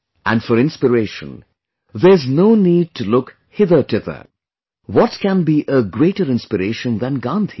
And for inspiration, there's no need to look hither tither; what can be a greater inspiration than Gandhi